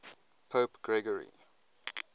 pope gregory